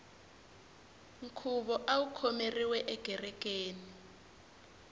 nkhuvo awu khomeriwe ekerekeni